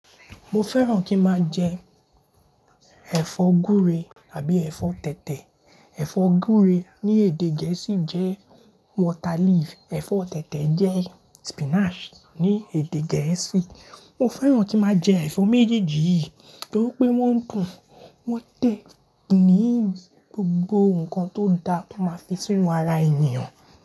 Mo fẹ́ràn kí n máa jẹ ẹ̀fọ́ gúre tàbí ẹ̀fọ́ tẹ̀tẹ̀. Ẹ̀fọ́ gúre ní èdè Gẹ̀ẹ́sì jẹ́ water leaf, ẹ̀fọ́ tẹ̀tẹ̀ jẹ́ spinach ní èdè Gẹ̀ẹ́sì. Mo fẹ́ràn kí máa jẹ ẹ̀fọ́ méjèèjì yìí torí pé wọ́n dùn, wọ́n tẹ̀, pínǹín gbogbo nǹkan tó ń dà tó máa fi sínú ara ènìyàn.